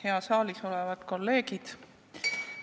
Head saalis olevad kolleegid!